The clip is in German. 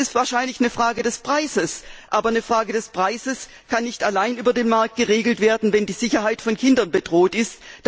Es ist wahrscheinlich eine Frage des Preises, aber das kann nicht allein über den Markt geregelt werden, wenn die Sicherheit von Kindern bedroht ist.